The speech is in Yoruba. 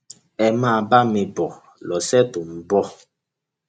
ẹ máa bá mi bọ lọsẹ tó ń bọ